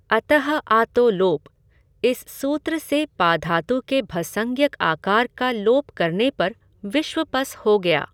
अतः आतो लोपः इस सूत्र से पाधातु के भसंज्ञक आकार का लोप करने पर विश्वपस् हो गया।